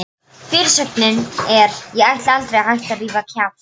Fyrirsögnin er: Ég ætla aldrei að hætta að rífa kjaft!